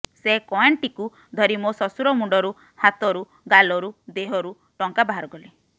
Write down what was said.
ସେ କଏନ୍ଟିକୁ ଧରି ମୋ ଶ୍ୱଶୂର ମୁଣ୍ଡରୁ ହାତରୁ ଗାଲରୁ ଦେହରୁ ଟଙ୍କା ବାହାରକଲି